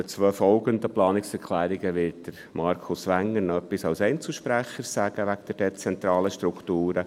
Zu den beiden folgenden Planungserklärungen zu den dezentralen Strukturen wird Markus Wenger als Einzelsprecher noch etwas sagen.